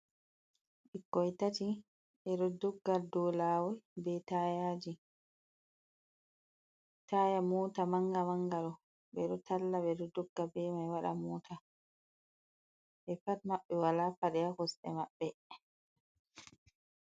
Ɓikkoi tati ɓe ɗo dogga ɗou lawo be taaya ji, taya mota manga manga ɗo ɓeɗo talla ɓe ɗo dogga be mai waɗa mota, ɓe pat maɓɓe wala paɗe ha kosɗe maɓɓe.